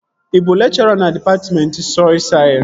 Ị bụ lekchọra na dịpatmentị sọy sayensị?